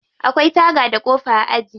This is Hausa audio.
Akwai taga da kofa a aji.